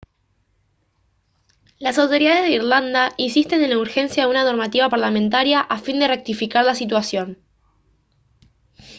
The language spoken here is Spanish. las autoridades de irlanda insisten en la urgencia de una normativa parlamentaria a fin de rectificar la situación